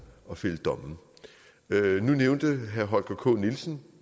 og fælde domme nu nævnte herre holger k nielsen